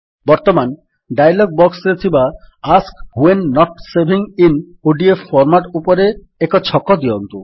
ବର୍ତ୍ତମାନ ଡାୟଲଗ୍ ବକ୍ସରେ ଥିବା ask when not saving in ODF format option ଉପରେ ଏକ ଛକ ଦିଅନ୍ତୁ